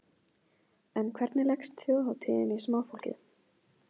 En hvernig leggst þjóðhátíðin í smáfólkið?